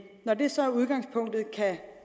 når det så er udgangspunktet